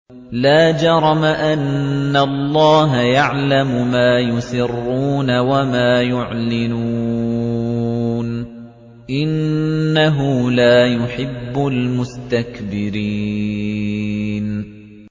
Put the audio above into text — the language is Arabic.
لَا جَرَمَ أَنَّ اللَّهَ يَعْلَمُ مَا يُسِرُّونَ وَمَا يُعْلِنُونَ ۚ إِنَّهُ لَا يُحِبُّ الْمُسْتَكْبِرِينَ